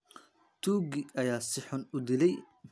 Tuugii ayaa si xun u dilaay .